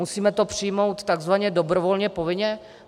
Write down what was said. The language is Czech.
Musíme to přijmout takzvaně dobrovolně povinně?